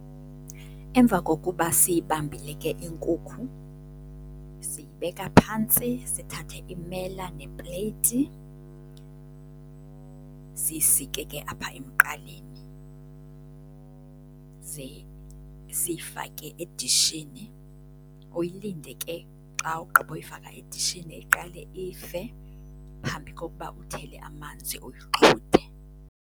Emva kokuba siyibambile ke inkukhu, siyibeka phantsi sithathe imela nepleyiti siyisike ke apha emqaleni. Ze siyifake edishini, uyilinde ke. Xa ugqiba ukuyifaka edishini iqale ife phambi kokuba uthele amanzi uyixhuthe.